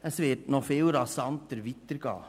Es wird noch viel rasanter weitergehen.